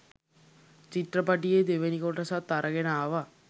චිත්‍රපටියෙ දෙවනි කොටසත් අරගෙන ආවා.